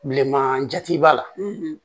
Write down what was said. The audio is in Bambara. Bilenman jati b'a la